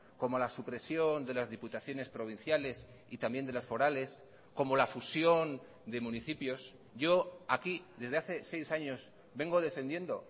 como la supresión de las diputaciones provinciales y también de las forales como la fusión de municipios yo aquí desde hace seis años vengo defendiendo